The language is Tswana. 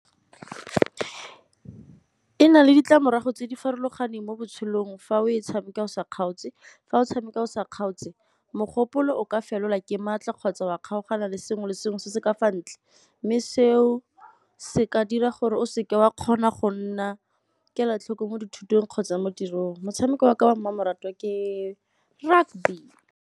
E na le ditlamorago tse di farologaneng mo botshelong fa o tshameka o sa kgaotse. Fa o tshameka o sa kgaotse, mogopolo o ka felelwa ke maatla kgotsa wa kgaogana le sengwe le sengwe se se ka fa ntle, mme seo se ka dira gore o seke wa kgona go nna kelotlhoko mo dithutong kgotsa mo tirong. Motshameko wa ka ba mmamoratwa ke .